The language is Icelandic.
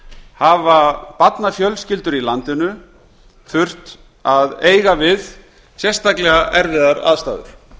hafa barnafjölskyldur í landinu þurft að eiga við sérstaklega erfiðar aðstæður